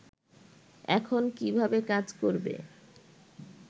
এখন কীভাবে কাজ করবে